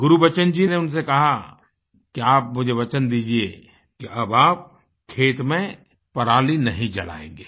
गुरबचन सिंह जी ने उनसे कहा कि आप मुझे वचन दीजिये कि अब आप खेत में पराली नहीं जलायेंगे